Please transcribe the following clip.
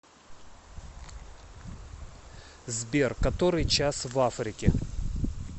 сбер который час в африке